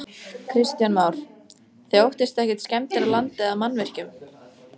Kristján Már: Þið óttist ekkert skemmdir á landi eða mannvirkjum?